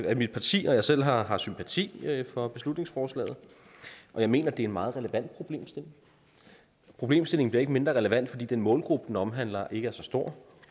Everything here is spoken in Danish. at mit parti og jeg selv har har sympati for beslutningsforslaget og jeg mener at det er en meget relevant problemstilling problemstillingen bliver ikke mindre relevant fordi den målgruppe den omhandler ikke er så stor